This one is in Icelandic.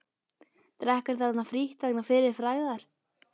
Drekkur þarna frítt vegna fyrri frægðar.